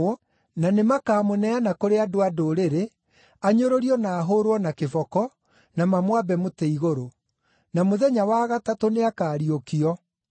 na nĩmakamũneana kũrĩ andũ-a-Ndũrĩrĩ anyũrũrio na ahũũrwo na kĩboko na mamwambe mũtĩ igũrũ. Na mũthenya wa gatatũ nĩakariũkio!”